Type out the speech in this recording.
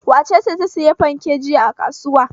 Wace ce ta sayi fanke jiya a kasuwa?